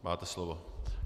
Máte slovo.